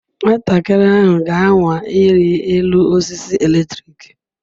Nwatakịrị ahụ ga-anwa ịrị elu osisi eletrik.